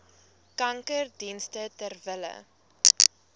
kankerdienste ter wille